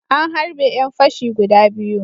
An harbe ƴan fashi guda biyu.